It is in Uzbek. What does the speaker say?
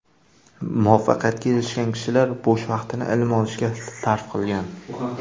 Muvaffaqiyatga erishgan kishilar bo‘sh vaqtini ilm olishga sarf qilgan.